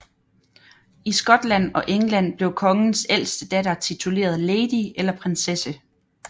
I Skotland og England blev kongens ældste datter tituleret lady eller prinsesse